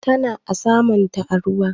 tana ana samunta a ruwa